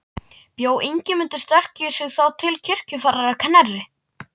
Bjó Ingimundur sterki sig þá til kirkjuferðar að Knerri.